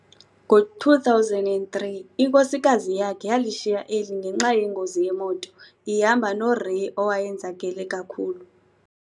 Ngo2003, inkosikazi yakhe yalishiya eli ngenxa yengozi yemoto, ihamba noRay owayenzakele kakhulu.